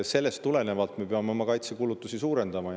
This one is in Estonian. Sellest tulenevalt me peame oma kaitsekulutusi suurendama.